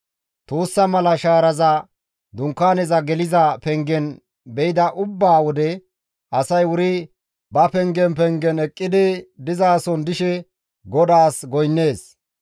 Tuussa mala shaaraza dunkaaneza pengen be7ida ubba wode, asay wuri ba pengen pengen eqqidi dizasohon dishe GODAAS goynnees.